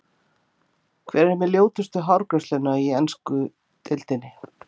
Hver er með ljótustu hárgreiðsluna í ensku deildinni?